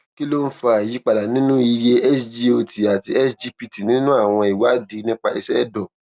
kí ló ń fa ìyípadà nínú iye sgot àti sgpt nínú àwọn ìwádìí nípa iṣẹ ẹdọ